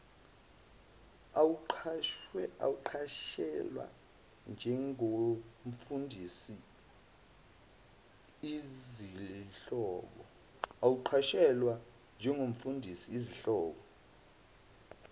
awuqashelwe njengomfundisi izihlobo